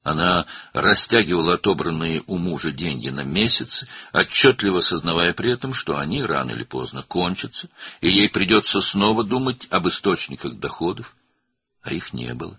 O, ərindən aldığı pulu aylarla uzadırdı, eyni zamanda anlayırdı ki, gec-tez pullar qurtaracaq və o, yenidən gəlir mənbələri haqqında düşünməli olacaq, lakin heç bir mənbə yox idi.